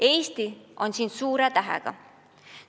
Eesti on siin suure tähega.